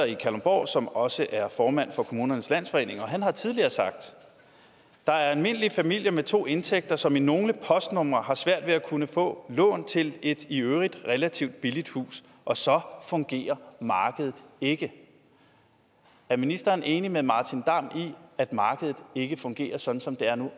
i kalundborg som også er formand for kommunernes landsforening han har tidligere sagt der er almindelige familier med to indtægter som i nogle postnumre har svært ved at kunne få lån til et i øvrigt relativt billigt hus og så fungerer markedet ikke er ministeren enig med martin damm i at markedet ikke fungerer sådan som det er nu